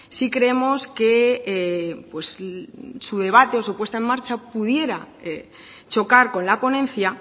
sí creemos que su debate o su puesta en marcha pudiera chocar con la ponencia